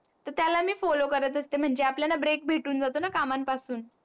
त्याला मी follow करत असते. म्हनजे आपल्या Break भेटून जातोन? कामा न पासुन